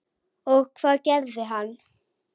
Og hvað gerði hann?